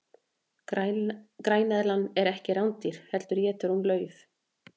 græneðlan er ekki rándýr heldur étur hún lauf